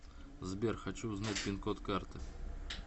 сбер хочу узнать пин код карты